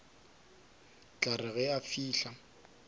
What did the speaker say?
tla re ge a fihla